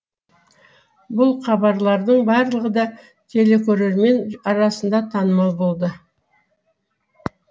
бұл хабарлардың барлығы да телекөрермен арасында танымал болды